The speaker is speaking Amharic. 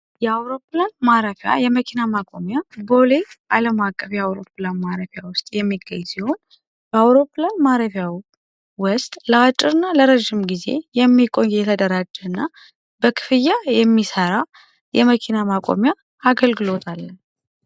የአውሮፕላን ማረፊያ የመኪና ማቆሚያ ቦሌ ዓለም አቀፍ የአውሮፕላን ማረፊያ ውስጥ በአውሮፕላን ማረፊያ ለረዥም ጊዜ የሚቆይ ተደራጀና በክፍያ የሚሰራ የመኪና አገልግሎት አለ